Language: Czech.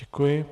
Děkuji.